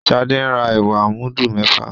Shade ń rà ẹwà mudu méfà.